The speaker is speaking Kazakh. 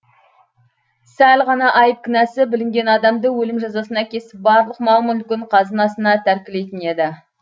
сәл ғана айып кінәсі білінген адамды өлім жазасына кесіп барлық мал мүлкін қазынасына тәркілейтін еді